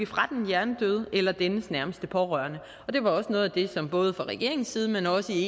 fra den hjernedøde eller dennes nærmeste pårørende og det var også noget af det som både fra regeringens side men også i